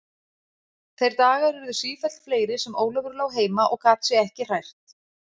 Þeir dagar urðu sífellt fleiri sem Ólafur lá heima og gat sig ekki hrært.